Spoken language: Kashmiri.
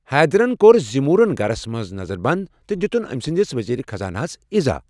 حیدرَن کوٚر زمورِن گرس منز نظر بنٛد تہٕ دِتُن أمہِ سٕنٛدِس وزیٖرِ خزاناہَس اِضاح ۔